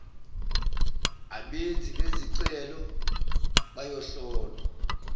abenzi bezicelo bayohlolwa